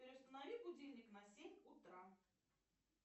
переустанови будильник на семь утра